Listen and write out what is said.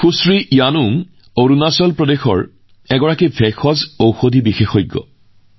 শ্ৰীমতী য়ানুং অৰুণাচল প্ৰদেশৰ আৰু তেওঁ এগৰাকী বনৌষধি চিকিৎসা বিশেষজ্ঞ